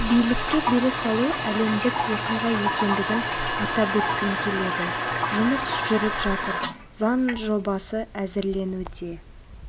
билікке бере салу әлемдік оқиға екендігін атап өткім келеді жұмыс жүріп жатыр заң жобасы әзірленуде